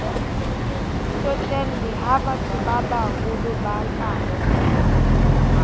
tsotelle ha bathobabaholo ba ka